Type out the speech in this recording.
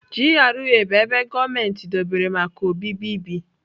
GRA bụ ebe gọọmentị dobere maka obibi bi.